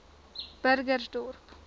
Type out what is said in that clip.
burgersdorp